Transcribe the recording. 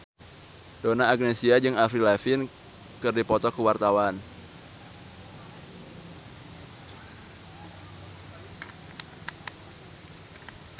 Donna Agnesia jeung Avril Lavigne keur dipoto ku wartawan